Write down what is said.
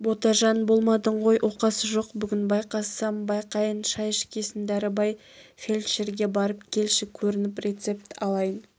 ботажан болмадың ғой оқасы жоқ бүгін байқасам байқайын шай ішкесін дәрібай фельдшерге барып келші көрініп рецепт алайын